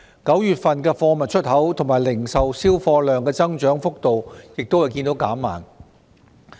9月份貨物出口和零售銷貨量的增長幅度亦見減慢。